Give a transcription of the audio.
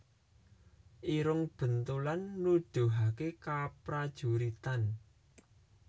Irung Bentulan Nuduhaké keprajuritan